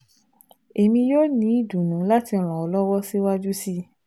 Emi yoo ni idunnu lati ran ọ lọwọ siwaju sii